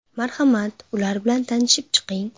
Marhamat, ular bilan tanishib chiqing.